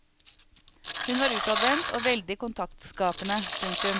Hun var utadvendt og veldig kontaktskapende. punktum